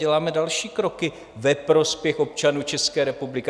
Děláme další kroky ve prospěch občanů České republiky.